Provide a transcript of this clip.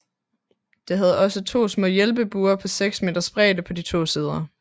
Det havde også to små hjælpebuer på 6 meters bredde på de to sider